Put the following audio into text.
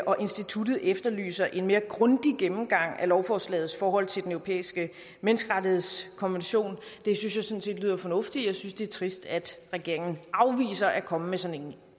og instituttet efterlyser en mere grundig gennemgang af lovforslagets forhold til den europæiske menneskerettighedskonvention det synes jeg sådan set lyder fornuftigt jeg synes det er trist at regeringen afviser at komme med sådan